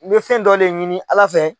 N bɛ fɛn dɔ de ɲini ALA fɛ.